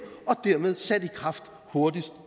og dermed sat i kraft hurtigst